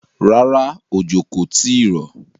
Rárá, òjò kò tìí rọ̀.